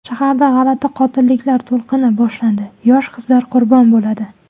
Shaharda g‘alati qotilliklar to‘lqini boshlanadi, yosh qizlar qurbon bo‘ladi.